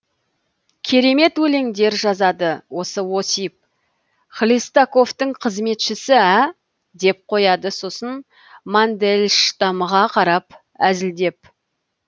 керемет өлеңдер жазады осы осип хлестаковтың қызметшісі ә деп қояды сосын мандельштамға қарап әзілдеп